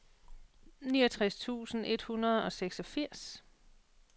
niogtres tusind et hundrede og seksogfirs